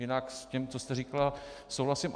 Jinak s tím, co jste říkala, souhlasím.